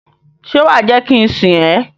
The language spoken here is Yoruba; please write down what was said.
Ṣe wa je ki n sìn ẹ?